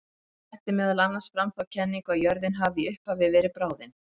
Hann setti meðal annars fram þá kenningu að jörðin hafi í upphafi verið bráðin.